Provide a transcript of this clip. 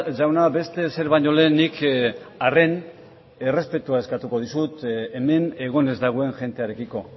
jauna beste ezer baino lehen nik arren errespetua esateko ditut hemen egon ez dagoen jendearekiko